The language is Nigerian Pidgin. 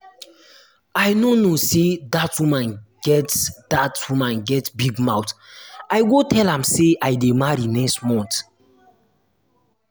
i no know say dat woman get dat woman get big mouth i go tell am say i dey marry next um month